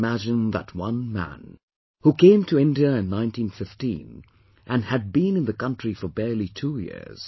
Just imagine that one man, who came to India in 1915, and had been in the country for barely two years